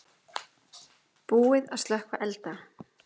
Búið að slökkva elda